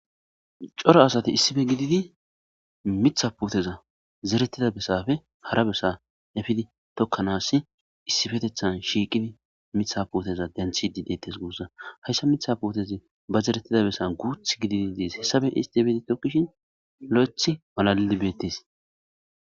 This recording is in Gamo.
coro asati issife gididi mitha puteza zerettida besafe hara bessa efidi tokkanas issifetethan shiiqidi mitha puoteza denthi di dettes guussa hayssa mitha puotezi ba zerettida bessa guuth gididi ziis hessafe istibeti tokkishin lo7ethi malalli beettes